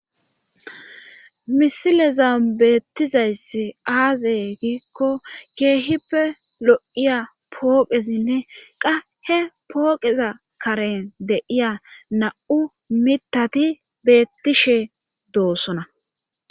Misilezan beettizayssi aazey giikko keehippe lo7iya pooqesinne qa he pooqeza karen deiya na7u mitati bettishe doossona